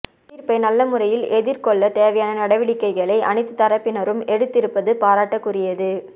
தீர்ப்பை நல்ல முறையில் எதிர்கொள்ளத் தேவையான நடவடிக்கைகளை அனைத்துத் தரப்பினரும் எடுத்திருப்பது பாராட்டுக்குரியது